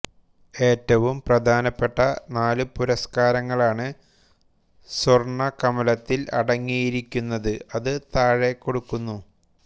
ഏറ്റവും പ്രധാനപ്പെട്ട നാല് പുരസ്കാരങ്ങളാണ് സ്വർണ്ണ കമലത്തിൽ അടങ്ങിയിരിക്കുന്നത് അത് താഴെക്കൊടുക്കുന്നു